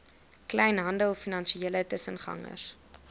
kleinhandel finansiële tussengangers